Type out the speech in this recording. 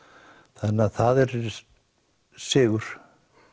þannig að það er sigur